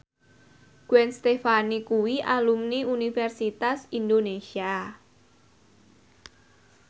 Gwen Stefani kuwi alumni Universitas Indonesia